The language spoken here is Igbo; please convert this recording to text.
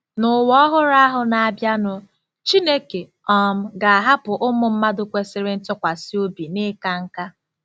N'ụwa ọhụrụ ahụ na-abịanụ, Chineke um ga-ahapụ ụmụ mmadụ kwesịrị ntụkwasị obi n'ịka nká.